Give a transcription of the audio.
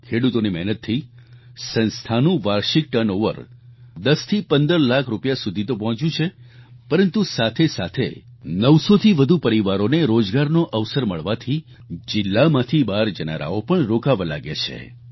ખેડૂતોની મહેનતથી સંસ્થાનું વાર્ષિક ટર્નઓવર 10 થી 15 લાખ રૂપિયા સુધી તો પહોંચ્યું છે પરંતુ સાથેસાથે 900 થી વધુ પરિવારોને રોજગારનો અવસર મળવાથી જિલ્લામાંથી બહાર જનારાઓ પણ રોકાવા લાગ્યા છે